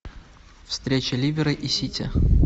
встреча ливера и сити